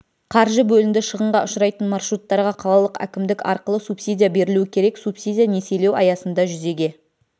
қаржы бөлінді шығынға ұшырайтын маршруттарға қалалық әкімдік арқылы субсидия берілуі керек субсидия несиелеу аясында жүзеге